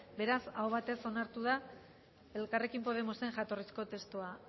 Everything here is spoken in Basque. beraz aho batez onartu da elkarrekin podemosen jatorrizko testua